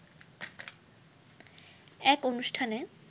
এক অনুষ্ঠানে